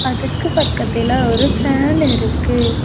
அதுக்கு பக்கத்துல ஒரு ஃபேன் இருக்கு.